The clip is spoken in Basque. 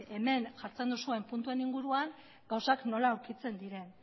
hemen jartzen duzuen puntuen inguruan gauzak nola aurkitzen diren